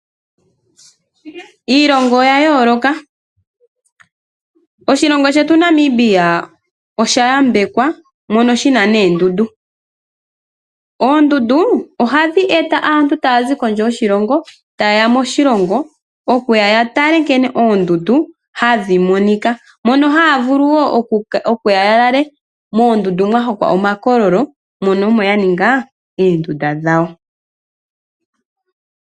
Iilongo oya yooloka. Oshilongo shetu Namibia osha yambekwa mono shina noondundu . Oondundu ohadhi eta aantu taya zi kondje yoshilongo , tayeya moshilongo yatale nkene oondundu hadhi monika. Mono haya vulu okuya ya lale noondundu , mwa hongwa omakololo mono omo yaninga oondunda dhawo.